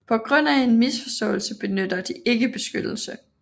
På grund af en misforståelse benytter de ikke beskyttelse